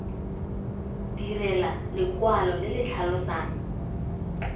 direlwa lekwalo le le tlhalosang